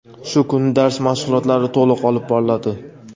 shu kuni dars mashg‘ulotlari to‘liq olib boriladi.